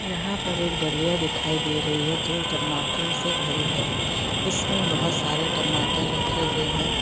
यहाँ पर एक डलिया दिखाई दे रही है जो टमाटरों से भरी है इसमें बहुत सारे टमाटर रखे हुए हैं।